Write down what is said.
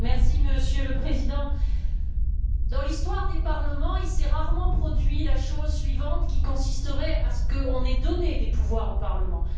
Monsieur le Président, dans l'histoire des parlements, il s'est rarement produit la chose suivante, qui consisterait à ce qu'on ait donné des pouvoirs aux parlements.